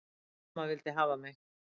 Amma vildi hafa mig.